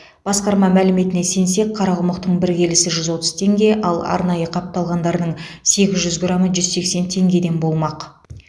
басқарма мәліметіне сенсек қарақұмықтың бір келісі жүз отыз теңге ал арнайы қапталғандарының сегіз жүз грамы жүз сексен теңгеден болмақ